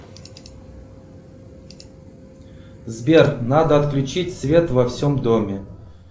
сбер надо отключить свет во всем доме